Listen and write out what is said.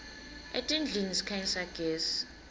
etindlini sikhanyisa gezi